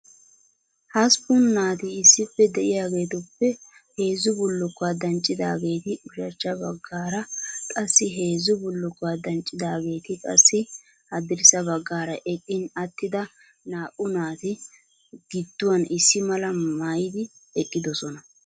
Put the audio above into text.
Hasppun naati issippe de'iyaageetuppe heezzu bullukuwaa danccidaageeti ushachcha baggaara qassi heezzu bullukuwaa danccidaageeti qassi haddirssa baggaara eqqin attida naa"u naati giduwaan issi mala maayyidi eqqidoosona.